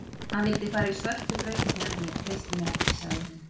Hann vildi fara í svörtu brautirnar en ég treysti mér ekki, sagði hún.